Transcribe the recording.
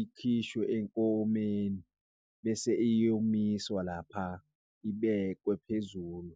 ikhishwe enkomeni bese iyomiswa lapha ibekwe phezulu.